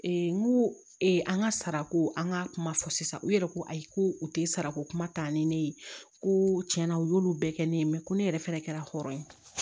n ko ee an ka sarako an ka kuma fɔ sisan u yɛrɛ ko ayi ko u tɛ sarako kuma ta ni ne ye ko tiɲɛna u y'olu bɛɛ kɛ ne ye ko ne yɛrɛ fɛnɛ kɛra hɔrɔn ye